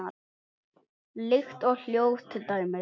Lykt og hljóð til dæmis.